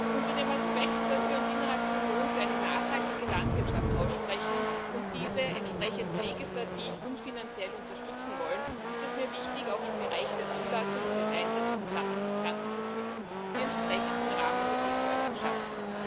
Unter dem Aspekt, dass wir uns innerhalb der Union für eine nachhaltige Landwirtschaft aussprechen und diese entsprechend legislativ und finanziell unterstützen wollen, ist es mir wichtig, auch im Bereich der Zulassung und des Einsatzes von Pflanzenschutzmitteln die entsprechenden Rahmenbedingungen zu schaffen.